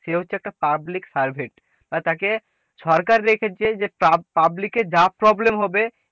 সে হচ্ছে একটা public servant বা তাকে সরকার রেখেছে যে public এর যা problem হবে,